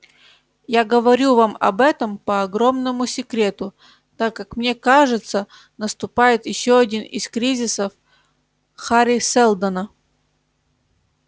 я говорю вам об этом по огромному секрету так как мне кажется наступает ещё один из кризисов хари сэлдона